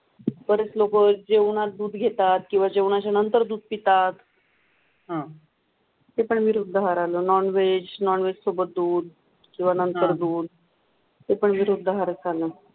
लोक जेवनांत दुध घेताथ किव्वाह जेवण्याचे नंतर दूध पिताथ अह ते पण विरुद्द आहार जळोई नान व्हेज, नान व्हेज सोबाथ दूध किव्हा नंतर दूध ते पण विरुद्द आहार आहे